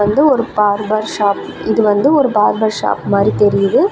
இது ஒரு barber shop இது வந்து ஒரு பார்பர் ஷாப் மாரி தெரியுது.